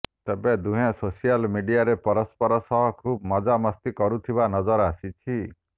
ତେବେ ଦୁହେଁ ସୋସିଆଲ ମିଡିଆରେ ପରସ୍ପର ସହ ଖୁବ ମଜା ମସ୍ତି କରୁଥିବା ନଜର ଆସିଛି